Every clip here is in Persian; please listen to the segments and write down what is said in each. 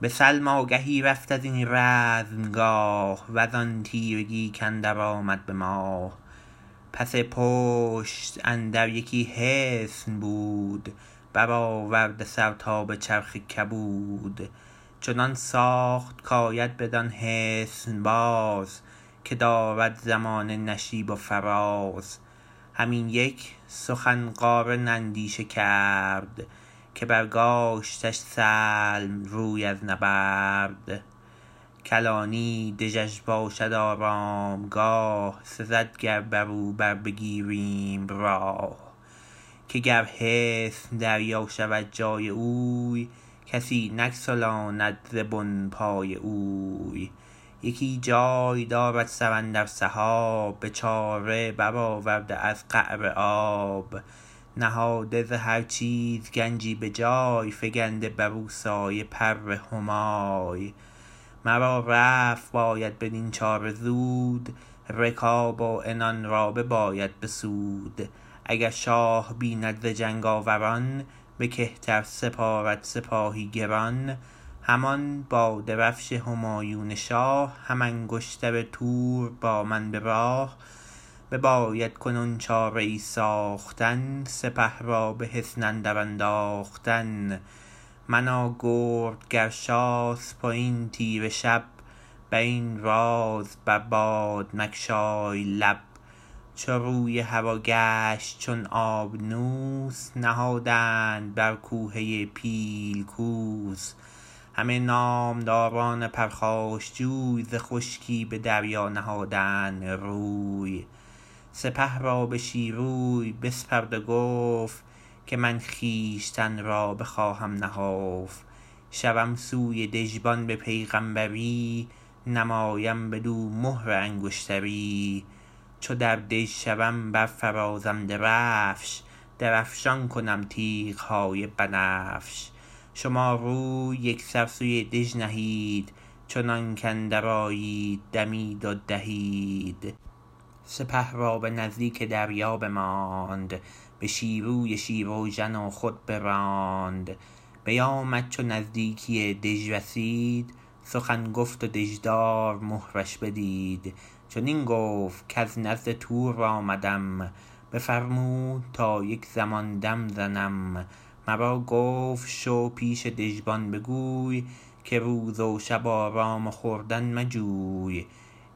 به سلم آگهی رفت ازین رزمگاه وزان تیرگی کاندر آمد به ماه پس پشتش اندر یکی حصن بود برآورده سر تا به چرخ کبود چنان ساخت کاید بدان حصن باز که دارد زمانه نشیب و فراز هم این یک سخن قارن اندیشه کرد که برگاشتش سلم روی از نبرد کلانی دژش باشد آرامگاه سزد گر برو بربگیریم راه که گر حصن دریا شود جای اوی کسی نگسلاند ز بن پای اوی یکی جای دارد سر اندر سحاب به چاره برآورده از قعر آب نهاده ز هر چیز گنجی به جای فگنده برو سایه پر همای مرا رفت باید بدین چاره زود رکاب و عنان را بباید بسود اگر شاه بیند ز جنگ آوران به کهتر سپارد سپاهی گران همان با درفش همایون شاه هم انگشتر تور با من به راه بباید کنون چاره ای ساختن سپه را به حصن اندر انداختن من و گرد گرشاسپ وین تیره شب برین راز بر باد مگشای لب چو روی هوا گشت چون آبنوس نهادند بر کوهه پیل کوس همه نامداران پرخاشجوی ز خشکی به دریا نهادند روی سپه را به شیروی بسپرد و گفت که من خویشتن را بخواهم نهفت شوم سوی دژبان به پیغمبری نمایم بدو مهر انگشتری چو در دژ شوم برفرازم درفش درفشان کنم تیغ های بنفش شما روی یکسر سوی دژ نهید چنانک اندر آید دمید و دهید سپه را به نزدیک دریا بماند به شیروی شیراوژن و خود براند بیامد چو نزدیکی دژ رسید سخن گفت و دژدار مهرش بدید چنین گفت کز نزد تور آمدم بفرمود تا یک زمان دم زدم مرا گفت شو پیش دژبان بگوی که روز و شب آرام و خوردن مجوی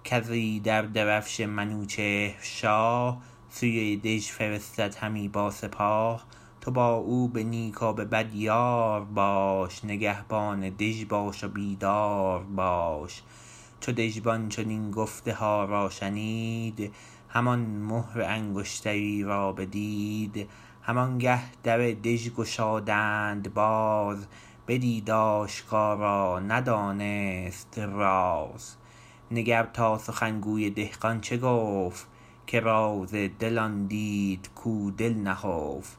کز ایدر درفش منوچهر شاه سوی دژ فرستد همی با سپاه تو با او به نیک و به بد یار باش نگهبان دژ باش و بیدار باش چو دژبان چنین گفتها را شنید همان مهر انگشتری را بدید همان گه در دژ گشادند باز بدید آشکارا ندانست راز نگر تا سخنگوی دهقان چه گفت که راز دل آن دید کو دل نهفت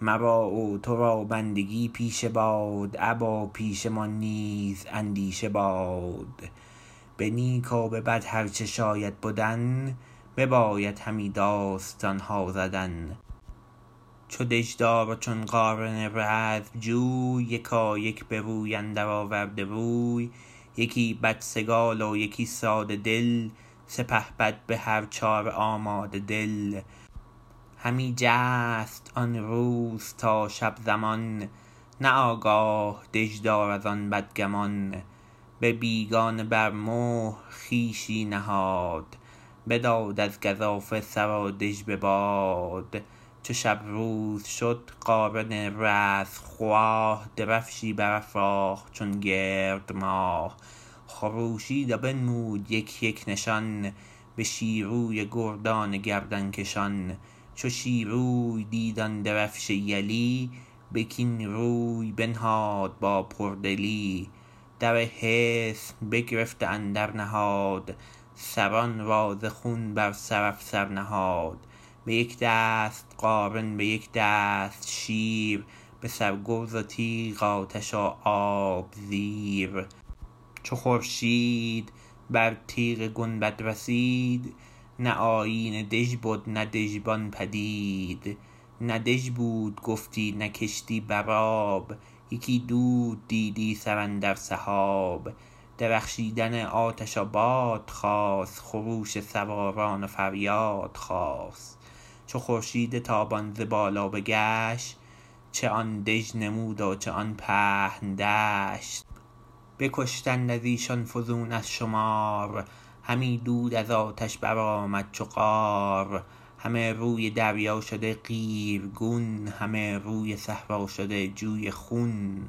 مرا و تو را بندگی پیشه باد ابا پیشه مان نیز اندیشه باد به نیک و به بد هر چه شاید بدن بباید همی داستان ها زدن چو دژدار و چون قارن رزمجوی یکایک به روی اندر آورده روی یکی بدسگال و یکی ساده دل سپهبد به هر چاره آماده دل همی جست آن روز تا شب زمان نه آگاه دژدار از آن بدگمان به بیگانه بر مهر خویشی نهاد بداد از گزافه سر و دژ به باد چو شب روز شد قارن رزمخواه درفشی برافراخت چون گرد ماه خروشید و بنمود یک یک نشان به شیروی و گردان گردن کشان چو شیروی دید آن درفش یلی به کین روی بنهاد با پردلی در حصن بگرفت و اندر نهاد سران را ز خون بر سر افسر نهاد به یک دست قارن به یک دست شیر به سر گرز و تیغ آتش و آب زیر چو خورشید بر تیغ گنبد رسید نه آیین دژ بد نه دژبان پدید نه دژ بود گفتی نه کشتی بر آب یکی دود دیدی سراندر سحاب درخشیدن آتش و باد خاست خروش سواران و فریاد خاست چو خورشید تابان ز بالا بگشت چه آن دژ نمود و چه آن پهن دشت بکشتند از ایشان فزون از شمار همی دود از آتش برآمد چو قار همه روی دریا شده قیرگون همه روی صحرا شده جوی خون